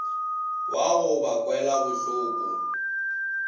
wa go ba kwela bohloko